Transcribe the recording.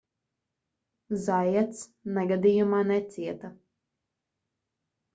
zaiats negadījumā necieta